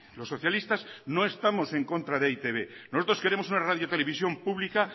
los socialistas no estamos en contra de e i te be nosotros queremos una radio televisión pública